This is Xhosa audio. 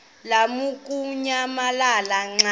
lamukunyamalala xa kanye